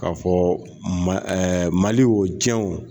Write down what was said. Ka fɔ ma, ɛɛ mali wocɛnw